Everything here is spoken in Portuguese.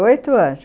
Estudei oito anos.